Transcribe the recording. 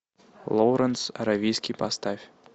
лоуренс аравийский поставь